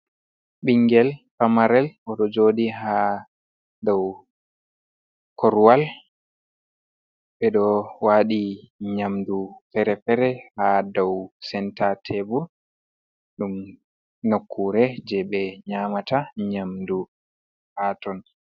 Bingel pamarel, oɗo joɗi ha dou korowal ɓeɗo waɗi nyamdu fere fere ha dou senta tebur, ɗum nokkure je ɓe nyamata nyamdu ha ton.